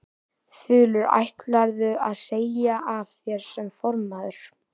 Þulur: Ætlarðu að segja af þér sem formaður?